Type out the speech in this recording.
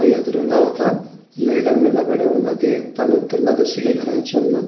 ఎదురూగ ఒక లీడర్ నిలబడే ఉన్నది తను తిన్న దుస్తులు ధరించి ఉన్నది.